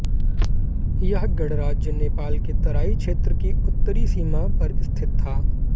यह गणराज्य नेपाल के तराई क्षेत्र की उत्तरी सीमा पर स्थित था